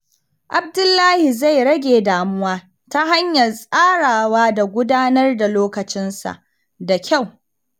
Abdullahi zai rage damuwa ta hanyar tsarawa da gudanar da lokacinsa da kyau.